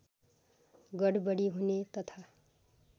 गडबडी हुने तथा